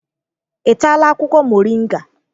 Ị taala akwụkwọ moringa?